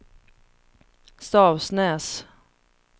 Stavsnäs